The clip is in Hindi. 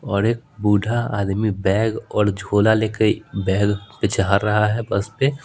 और एक बूढ़ा आदमी बैग और झोला लेकर बैग पछार रहा है बस पे।